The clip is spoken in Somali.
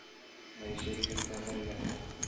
ma ii sheegi kartaa bariga dhexe